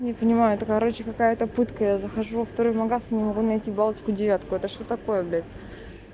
не понимаю это короче какая-то пытка я захожу во второй в магазин не могу найти балтику девятку это что такое блядь